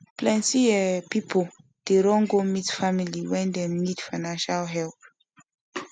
plenty um people dey run go meet family when dem need financial help